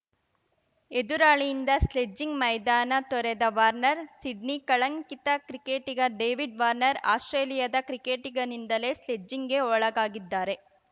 ಎದುರಾಳಿಯಿಂದ sledging ಮೈದಾನ ತೊರೆದ Warner Sydney ಕಳಂಕಿತ ಕ್ರಿಕೆಟಿಗ ಡೇವಿಡ್‌ ವಾರ್ನರ್ ಆಸ್ಪ್ರೇಲಿಯಾದ ಕ್ರಿಕೆಟಿಗನಿಂದಲೇ ಸ್ಲೆಡ್ಜಿಂಗ್‌ಗೆ ಒಳಾಗಿದ್ದಾರೆ